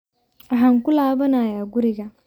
Waxaan ku laabanayaa guriga